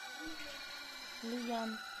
люян